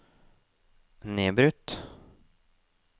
nedbrutt